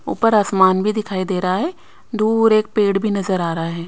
ऊपर आसमान भी दिखाई दे रहा है दूर एक पेड़ भी नजर आ रहा है।